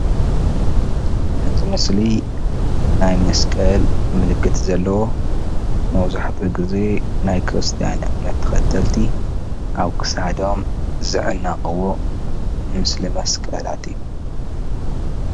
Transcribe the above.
ኣብዚ ምስሊ ናይ መስቀል ምልክት ዘለዎ መብዛሕትኡ ግዜ ናይ ክርስቲያን እምነት ተከተልቲ ኣብ ክሳዶም ዝዕነቅዎ ምስሊ መስቀላት እዩ፡፡